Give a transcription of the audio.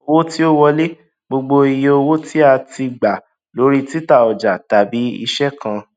owó tí ó wọlé gbogbo iye owó tí a tí a gbà lórí títa ọjà tàbí iṣẹ kan